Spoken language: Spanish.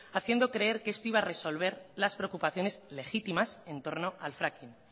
haciendo creer que esto iba a resolver las preocupaciones legítimas en torno al fracking